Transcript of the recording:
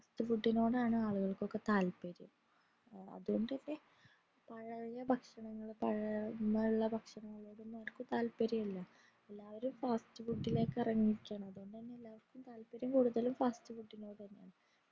fast food ഇനോടാണ് ആളുകൾക്കു താത്പര്യം അതോണ്ട് തന്നെ പഴയെ ഭക്ഷണങ്ങൾ പഴമയുള്ള ഭക്ഷനങ്ങൾ കൊന്നും താത്പര്യമില്ല എല്ലാവരും fast food ഇലെക് ഇറങ്ങിയിരിക്കയാണ് അതോണ്ട് തന്നെ താത്പര്യം കൂടുതലും fast food ഇനോടന്നയാണ്